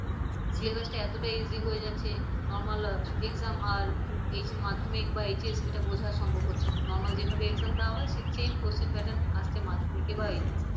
syllabus টা এতটা easy হয়ে যাচ্ছে normal exam আর মাধ্যমিক বা HS আর সেটা বোঝা সম্ভব হচ্ছে না Normal যেভাবে exam দেয়া হয় সেই same question pattern আসছে মাধ্যমিকে বা HS এ